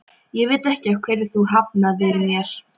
Ég veit ekki af hverju þú hafnaðir mér.